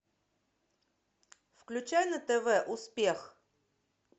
включай на тв успех